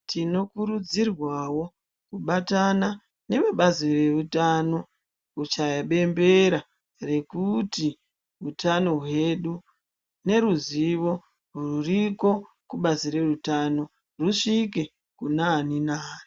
Tinokurudzirwawo kubatana nevebazi reutano kuchaya bembera rekuti hutano hwedu neruzivo ruriko kubazi reutano risvike kunaani nai.